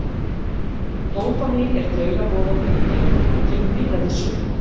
Dópamín er taugaboðefni í heilanum og kemur víða við sögu.